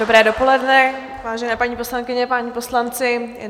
Dobré dopoledne, vážené paní poslankyně, páni poslanci.